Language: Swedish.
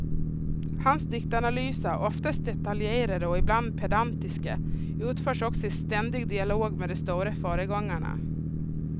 Hans diktanalyser, oftast detaljerade och ibland pedantiska, utförs också i ständig dialog med de stora föregångarna.